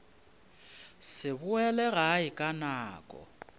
se boele gae ka nako